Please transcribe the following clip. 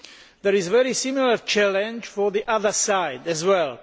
There is a very similar challenge for the other side as well.